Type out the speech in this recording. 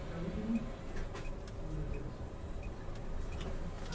Até a última... Oh, meu Deus!